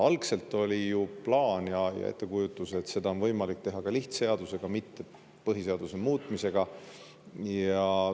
Algselt oli ju plaan ja ettekujutus, et seda on võimalik teha ka lihtseadusega, mitte põhiseaduse muutmisega.